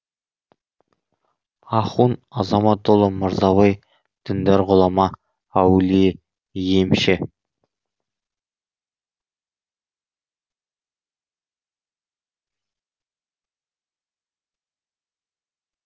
ахун азаматұлы мырзабай діндар ғұлама әулие емші